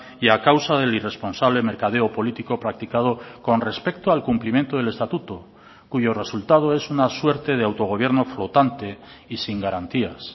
y a causa del irresponsable mercadeo político practicado con respecto al cumplimiento del estatuto cuyo resultado es una suerte de autogobierno flotante y sin garantías